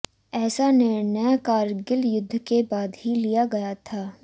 ऐसा निर्णय करगिल युद्ध के बाद ही लिया गया था